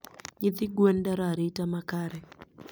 Nyithi gwen dwaro arita makare.